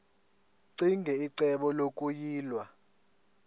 ccinge icebo lokuyilwa